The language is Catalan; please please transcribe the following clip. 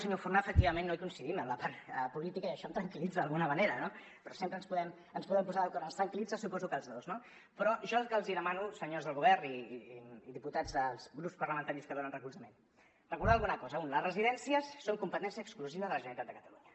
senyor forné efectivament no hi coincidim en la part política i això em tranquil·litza d’alguna manera no però sempre ens podem posar d’acord ens tranquil·litza suposo que als dos no però jo el que els demano senyors del govern i diputats dels grups parlamentaris que li donen recolzament és recordar alguna cosa un les residències són competència exclusiva de la generalitat de catalunya